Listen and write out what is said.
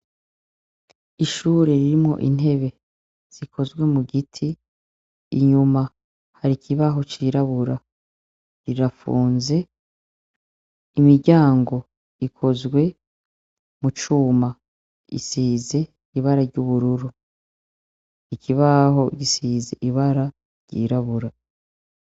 Ishure ririmwo intebe zikozwe mu giti, inyuma hari ikibaho cirabura, rirafunze, imiryango ikozwe mu cuma isize ibara ry'ubururu, ikibaho gisize ibara ryirabura.